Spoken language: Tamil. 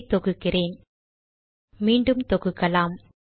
இதை தொகுக்கிறேன் மீண்டும் தொகுக்கலாம்